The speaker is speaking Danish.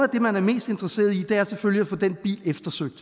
det man er mest interesseret i selvfølgelig at få den bil eftersøgt